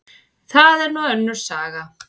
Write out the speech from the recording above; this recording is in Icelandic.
Það er nú önnur saga.